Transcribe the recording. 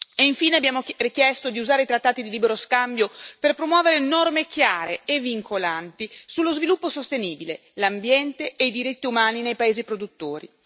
e infine abbiamo richiesto di usare i trattati di libero scambio per promuovere norme chiare e vincolanti sullo sviluppo sostenibile, l'ambiente e i diritti umani nei paesi produttori.